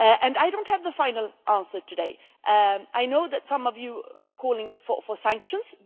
I do not have the final answer today. I know that some of you are calling for sanctions.